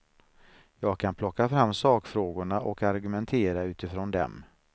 Jag kan plocka fram sakfrågorna och argumentera utifrån dem.